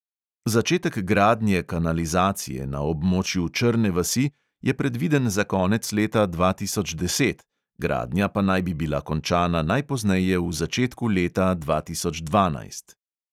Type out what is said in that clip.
Začetek gradnje kanalizacije na območju črne vasi je predviden za konec leta dva tisoč deset, gradnja pa naj bi bila končana najpozneje v začetku leta dva tisoč dvanajst.